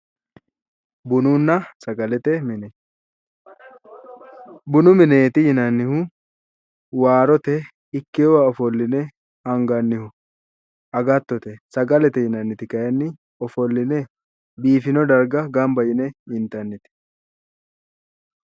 Bununna sagalete mine, bunu mineeti yinannihu waarote iibbewo ofolline angannihu agattote, sagalete yinanniti kayiinni ofolline biifino darga gamba yine intannite